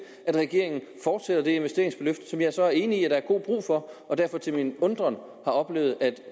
at regeringen fortsætter det investeringsløft som jeg så er enig i at der er god brug for og derfor til min undren har oplevet at